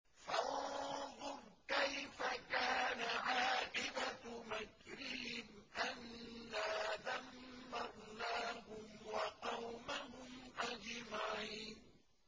فَانظُرْ كَيْفَ كَانَ عَاقِبَةُ مَكْرِهِمْ أَنَّا دَمَّرْنَاهُمْ وَقَوْمَهُمْ أَجْمَعِينَ